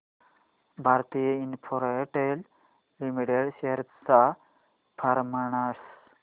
Bharti Infratel limited shares चा performance